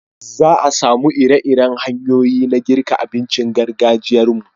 Za a samu iri-iren hanyoyi na girka abincin gargajiyan mu